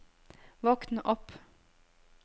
våkn opp